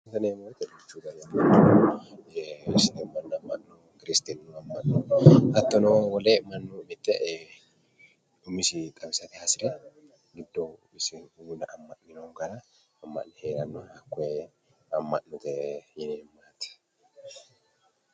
Ama'note yineemmoti kirsitinu ama'no hattono wole mannomite Ee umisi xawisate hasire giddo wole ama'ne heerano hakkoe ama'note yineemmo yaate